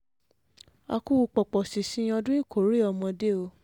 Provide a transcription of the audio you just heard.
a kú pọ̀pọ̀ṣìnṣìn ọdún ìkórè ọmọdé o